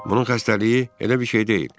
Bunun xəstəliyi elə bir şey deyil.